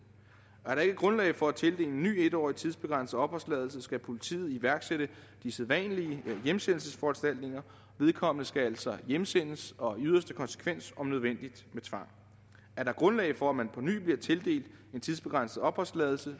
er der ikke grundlag for at tildele en ny etårig tidsbegrænset opholdstilladelse skal politiet iværksætte de sædvanlige hjemsendelsesforanstaltninger vedkommende skal altså hjemsendes og i yderste konsekvens om nødvendigt med tvang er der grundlag for at man på ny bliver tildelt en tidsbegrænset opholdstilladelse